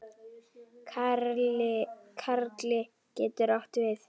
Karli getur átt við